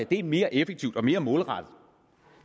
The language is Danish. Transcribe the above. det mere effektivt og mere målrettet